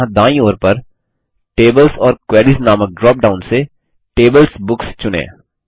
और यहाँ दायीं ओर पर टेबल्स ओर क्वेरीज नामक ड्रॉप डाउन से टेबल्सबुक्स चुनें